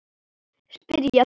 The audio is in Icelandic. spyrja þeir.